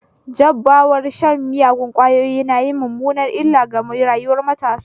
Jabarar shan miyagon kwayoyi nayin mummunar illa ga rayuwar matasa